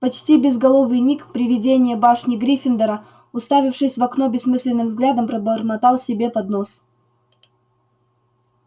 почти безголовый ник привидение башни гриффиндора уставившись в окно бессмысленным взглядом бормотал себе под нос